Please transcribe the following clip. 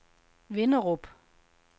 Vinderup